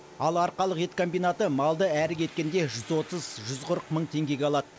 ал арқалық ет комбинаты малды әрі кеткенде жүз отыз жүз қырық мың теңгеге алады